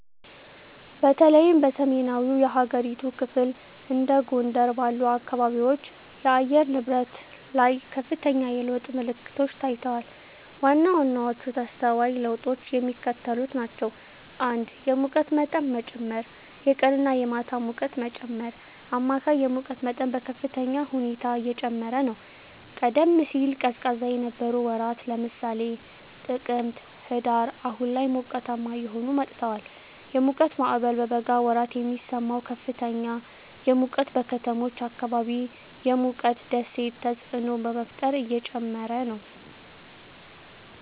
በተለይም በሰሜናዊው የሀገሪቱ ክፍል (እንደ ጎንደር ባሉ አካባቢዎች) የአየር ንብረት ላይ ከፍተኛ የለውጥ ምልክቶች ታይተዋል። ዋና ዋናዎቹ ተስተዋይ ለውጦች የሚከተሉት ናቸው። 1. የሙቀት መጠን መጨመር -የቀንና የማታ ሙቀት መጨመር: አማካይ የሙቀት መጠን በከፍተኛ ሁኔታ እየጨመረ ነው። ቀደም ሲል ቀዝቃዛ የነበሩ ወራት (ለምሳሌ ጥቅምት/ህዳር) አሁን ላይ ሞቃታማ እየሆኑ መጥተዋል። የሙቀት ማዕበል: በበጋ ወራት የሚሰማው ከፍተኛ ሙቀት በከተሞች አካባቢ የሙቀት ደሴት ተፅዕኖ በመፍጠር እየጨመረ ነው።